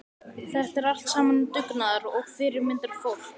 Þetta er allt saman dugnaðar- og fyrirmyndarfólk.